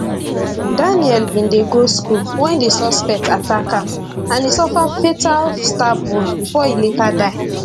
daniel bin dey go school wen di suspect attack am and e suffer fatal stab wound bifor e later die